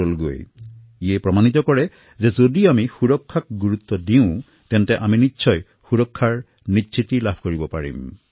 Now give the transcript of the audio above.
ইয়াৰ দ্বাৰা এইটো গম পোৱা গৈছে যে যদি আমি সুৰক্ষাক প্ৰাধান্য দিওঁ তেন্তে সুৰক্ষা প্ৰাপ্ত কৰিব পাৰোঁ